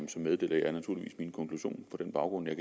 meddeler jeg naturligvis min konklusion på den baggrund jeg